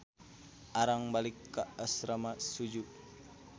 Arang balik ka asrama Suju.